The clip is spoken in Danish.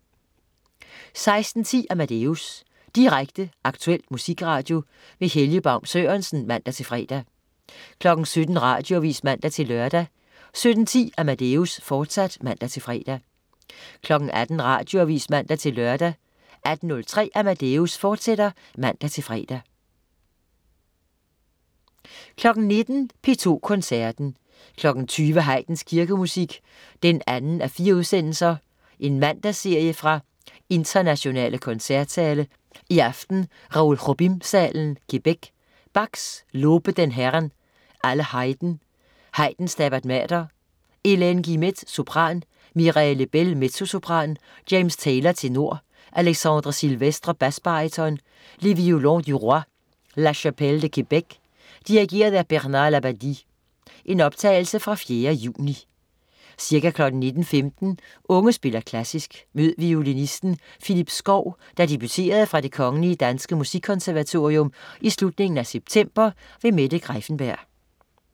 16.10 Amadeus. Direkte, aktuel musikradio. Helge Baun Sørensen (man-fre) 17.00 Radioavis (man-lør) 17.10 Amadeus, fortsat (man-fre) 18.00 Radioavis (man-lør) 18.03 Amadeus, fortsat (man-fre) 19.00 P2 Koncerten. 20.00 Haydns Kirkemusik (2:4). Mandagsserie fra internationale koncertsale, i aften Raoul Jobin-salen, Quebec. Bach: Lobet den Herrn, alle Heiden. Haydn: Stabat Mater. Hélène Guilmette, sopran. Mireille Lebel, mezzosopran. James Taylor, tenor. Alexandre Sylvestre, basbaryton. Les Violons du Roy. La Chapelle de Québec. Dirigent: Bernard Labadie. (Optagelse fra 4. juni). Ca. 19.15 Unge spiller Klassisk. Mød violinisten Phillippe Skow, der debuterede fra Det Kgl. Danske Musikkonservatorium i slutningen af september. Mette Greiffenberg